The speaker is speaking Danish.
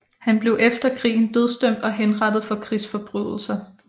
Han blev efter krigen dødsdømt og henrettet for krigsforbrydelser